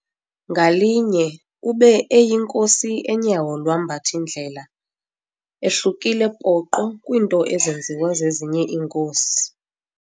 Ngalinye ube eyinkosi enyawo lwambath'indlela, ahlukile poqo kwiinto ezenziwa zezinye iinkosi.